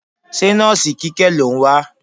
Ṣé nọ́ọ̀sì Kíkẹ́ lò ń wá?